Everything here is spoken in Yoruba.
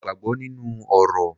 Mo gbàgbọ́ nínú orò.